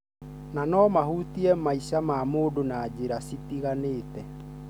na nomahutie maica ma mũndũ na njĩra citiganĩte.